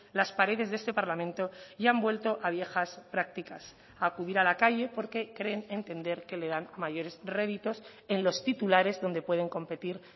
las paredes de este parlamento y han vuelto a viejas prácticas acudir a la calle porque creen entender que le dan mayores réditos en los titulares donde pueden competir